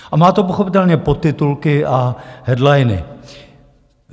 A má to pochopitelně podtitulky a headliny.